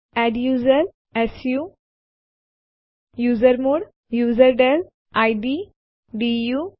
પહેલાંના ટ્યુટોરીયલમાં આપણે પહેલેથી જ જોયું છે કે ડિરેક્ટરીઓ સાથે કેવી રીતે કામ કરવું